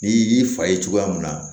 N'i y'i fa ye cogoya mun na